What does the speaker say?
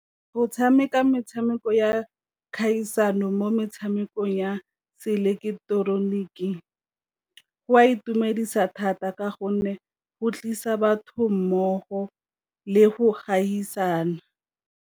Go tshameka metshameko ya kgaisano mo metshamekong ya se ileketeroniki, go a itumedisa thata ka gonne go tlisa batho mmogo le go gaisana.